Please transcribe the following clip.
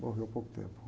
Morreu há pouco tempo.